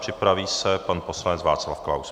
Připraví se pan poslanec Václav Klaus.